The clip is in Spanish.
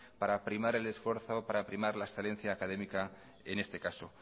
para primar el esfuerzo para primar la excelencia académica en este caso